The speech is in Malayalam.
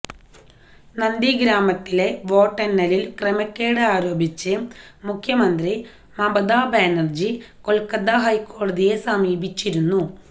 നന്ദിഗ്രാമിലെ വോട്ടെണ്ണലിൽ ക്രമക്കേട് ആരോപിച്ച് മുഖ്യമന്ത്രി മമത ബാനർജി കൊൽക്കത്ത ഹൈക്കോടതിയെ സമീപിച്ചിരുന്നു